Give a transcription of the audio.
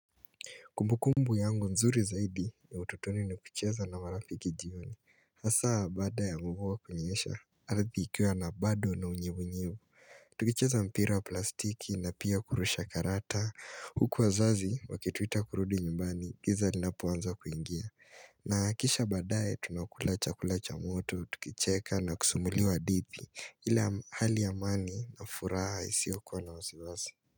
Kumbukumbu yangu nzuri zaidi ya utotoni ni kucheza na marafiki jioni. Hasa baada ya mvua kunyesha, ardhi ikiwa na bado na unyevunyevu. Tukicheza mpira wa plastiki na pia kurusha karata. Huku wazazi wakituita kurudi nyumbani giza linapoanza kuingia. Na kisha baadaye, tunakula chakula cha moto, tukicheka na kusumuliwa hadithi. Ila hali ya amani na furaha isiyokuwa na wasiwasi.